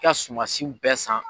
I ka sumansiw bɛɛ san.